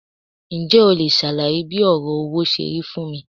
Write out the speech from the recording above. Ǹjẹ́ o leè sàlàyé bí òrò owó serí fún mi